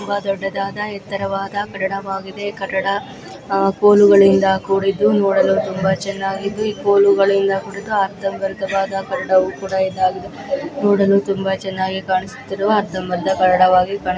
ಎತ್ತರವಾದ ಕಟ್ಟಡವಾಗಿದೆ. ಕನ್ನಡ ಕೋಲುಗಳಿಂದ ಕೂಡಿದ್ದು ನೋಡಲು ತುಂಬಾ ಚೆನ್ನಾಗಿತ್ತುಈ ಕೋಲುಗಳಿಂದ ಕೂಡಿದ ಅರ್ಥ ವ್ಯರ್ಥವಾದ ಕಟ್ಟಡವು ಕೂಡ ಇದ್ದು ನೋಡಲು ತುಂಬಾ ಚೆನ್ನಾಗಿ ಕಾಣುತ್ತಿರುವ ಅದು ತಡವಾಗಿ ಕಣೋ--